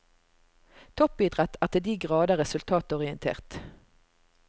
Toppidrett er til de grader resultatorientert.